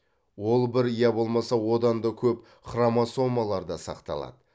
ол бір я болмаса одан да көп хромосомаларда сақталады